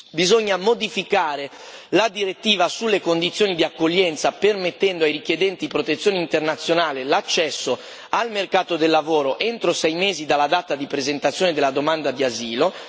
bisogna modificare la direttiva sulle condizioni di accoglienza, permettendo ai richiedenti protezione internazionale l'accesso al mercato del lavoro entro sei mesi dalla data di presentazione della domanda di asilo